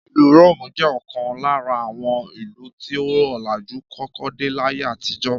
Ìlú Róòmù jẹ́ ọ̀kan lára àwọn ìlú tí ọlàjú kọ́kọ́ dé láyé àtijó